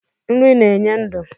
Nri na-enye ndụ.